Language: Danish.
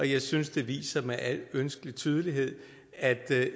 jeg synes det viser med al ønskelig tydelighed at